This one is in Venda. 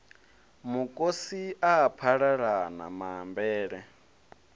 mukosi a a phalalana maambele